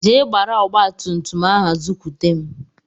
Jee gbara ọgbatumtum ahụ zukwute m!